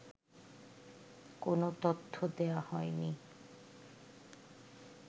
কোন তথ্য দেয়া হয়নি